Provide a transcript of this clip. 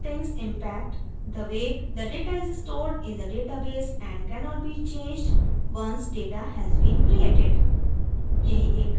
these settings impact the way the data is stored in the database and cannot be changed once data has been created